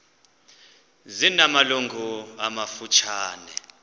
zina malungu amafutshane